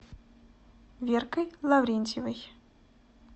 веркой лаврентьевой